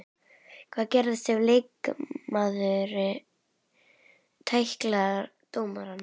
Hvað gerist ef leikmaður tæklar dómarann?